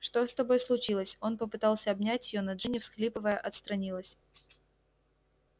что с тобой случилось он попытался обнять её но джинни всхлипывая отстранилась